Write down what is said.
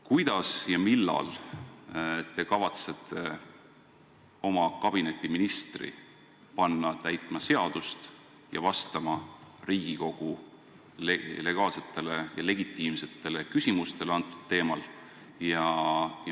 Kuidas ja millal te kavatsete oma kabineti ministri panna seadust täitma ja vastama Riigikogu legaalsetele ja legitiimsetele küsimustele antud teemal?